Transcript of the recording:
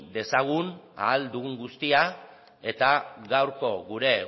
dezagun ahal dugun guztia eta gaurko gure